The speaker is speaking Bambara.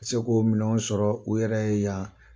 U bɛ se ko minɛnw sɔrɔ u yɛrɛ ye yan.